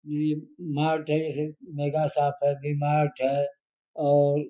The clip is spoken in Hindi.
ये मार्ट है ये मेगा शॉप है वी-मार्ट है और --